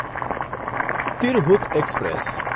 Tirhut express